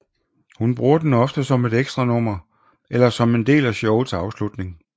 Hun bruger den ofte som et ekstranummer eller som en del af showets afslutning